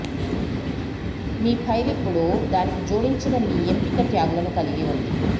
మీ file ఇప్పుడు దానికి జోడించిన మీ ఎంపిక ట్యాగ్లను కలిగి ఉంది